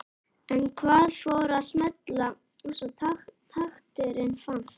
En hvað fór að smella svo takturinn fannst?